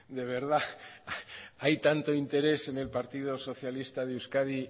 de verdad hay tanto interés en el partido socialista de euskadi